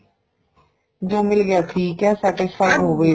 ਜੋ ਮਿਲ ਗਿਆ ਠੀਕ ਏ satisfied ਹੋ ਗਏ